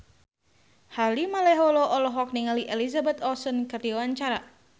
Harvey Malaiholo olohok ningali Elizabeth Olsen keur diwawancara